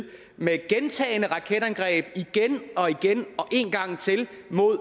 med gentagne raketangreb igen og igen og en gang til mod